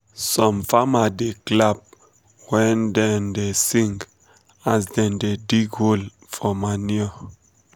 some farma da clapp when um dem da sing as dem da dig whole for manure